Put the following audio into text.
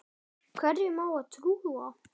Hverjum á að trúa?